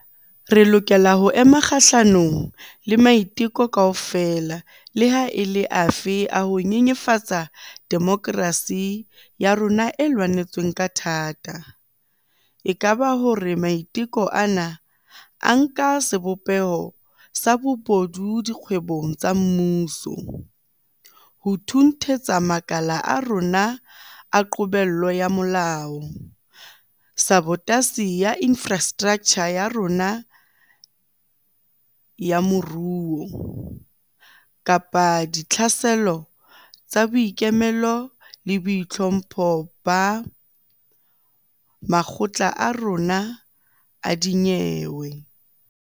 Re lokela ho ema kgahlanong le maiteko kaofela leha e le afe a ho nyenyefatsa demokerasi ya rona e lwanetsweng ka thata - e ka ba hore maiteko ana a nka sebopeho sa bobodu dikgwebong tsa mmuso, ho thunthetsa makala a rona a qobello ya molao, sabotasi ya infrastraktjha ya rona ya moruo, kapa ditlhaselo tsa boikemelo le boitlhompho ba makgotla a rona a dinyewe.